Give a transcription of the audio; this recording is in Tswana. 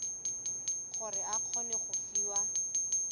gore o kgone go fiwa